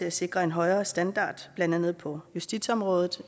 at sikre en højere standard blandt andet på justitsområdet